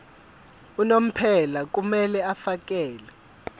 unomphela kumele afakele